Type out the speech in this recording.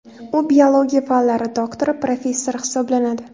U biologiya fanlari doktori, professor hisoblanadi.